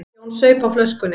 Jón saup á flöskunni.